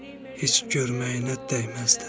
Heç görməyinə dəyməzdi.